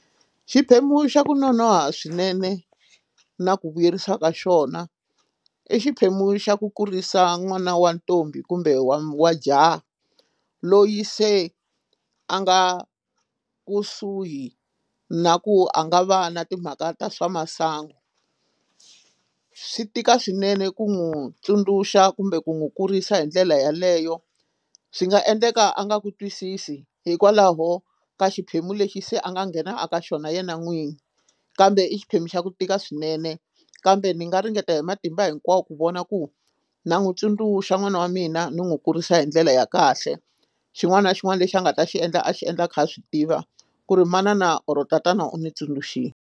Xiphemu xa ku nonoha swinene na ku vuyerisiwa ka xona i xiphemu xa ku kurisa n'wana wa ntombi kumbe wa jaha loyi se a nga kusuhi na ku a nga va na timhaka ta swa masangu swi tika swinene ku n'wi tsundzuxa kumbe ku n'wi kurisa hi ndlela yeleyo swi nga endleka a nga ku twisisi hikwalaho ka xiphemu lexi se a nga nghena a ka xona yena n'wini kambe i xiphemu xa ku tika swinene kambe ni nga ringeta hi matimba hinkwawo ku vona ku na n'witsundzuxa n'wana wa mina ni n'wi kurisa hi ndlela ya kahle xin'wana na xin'wana lexi a nga ta xi endla a xi endla a kha a swi tiva ku ri manana or tatana u ni tsundzuxini.